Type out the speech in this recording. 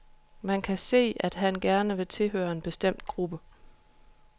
Man kan se, at han gerne vil tilhøre en bestemt gruppe.